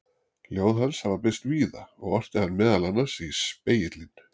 ljóð hans hafa birst víða og orti hann meðal annars í „spegilinn“